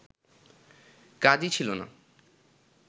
কাগজই ছিল না